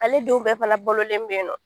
Ale denw bɛɛ fana bololen bɛ yen nɔ